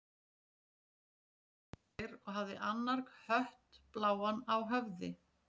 Það voru karlar tveir og hafði annar hött bláan á höfði.